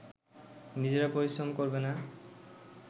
নিজেরা পরিশ্রম করবে না